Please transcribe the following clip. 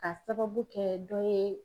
Ka sababu kɛ dɔ ye